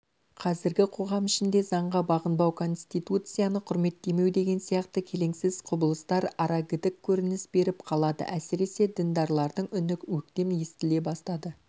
қазіргі қоғам ішінде заңға бағынбау конституцияны құрметтемеу деген сияқты келеңсіз құбылыстар арагідік көрініс беріп қалады әсіресе діндарлардың үні өктем естіле бастады